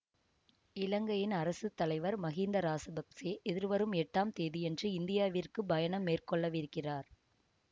இலங்கையின் அரசு தலைவர் மகிந்த ராசபக்சே எதிர்வரும் எட்டாம் தேதியன்று இந்தியாவிற்கு பயணம் மேற்கொள்ளவிருக்கிறார்